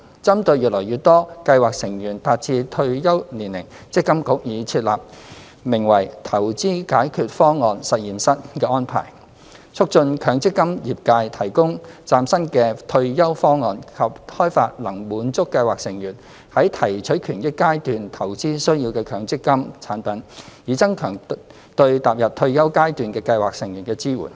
針對越來越多計劃成員達至退休年齡，積金局已設立名為"投資解決方案實驗室"的安排，促進強積金業界提供嶄新的退休方案及開發能滿足計劃成員在提取權益階段投資需要的強積金產品，以增強對踏入退休階段的計劃成員的支援。